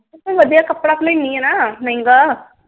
ਮੈਂ ਵਧੀਆ ਕੱਪੜਾ ਲੈਣੀ ਆ ਨਾ ਮਹਿੰਗਾ।